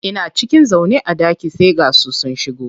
Ina cikin zaune a ɗaki sai ga su sun shigo.